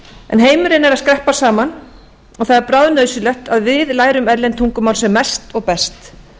en heimurinn er að skreppa saman og það er bráðnauðsynlegt að við lærum erlend tungumál sem mest og best